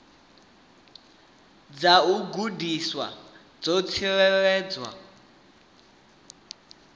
dza u gandiswa dzo tsireledzwa